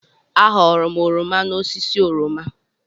Aghọọrọ m oroma n'osisi oroma.